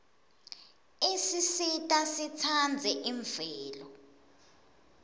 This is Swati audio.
isisita sitsandze imvelo